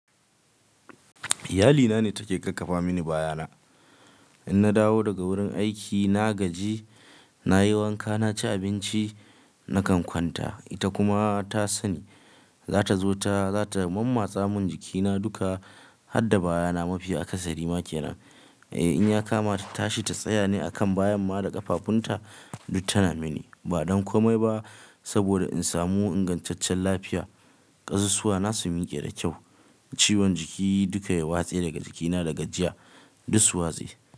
Iyalina ne take ƙarfafa mini bayana. In na dawo daga wurin aiki, na gaji, na yi wanka, na ci abinci, na kan kwanta, ita kuma ta sani za ta zo ta, za ta mammatsa mun jikina duka, har da bayana mafi a ƙasa Rima kenan. Eh, in ya kama ta tashi, ta tsaya ne a kan bayan ma da ƙafafunta, duk tana mini. Ba don komai ba saboda in samu ingantaccen lafiya, ƙasussuwa na su miƙe da kyau, ciwon jiki duka ya watse daga jikina da gajiya, duk su watse.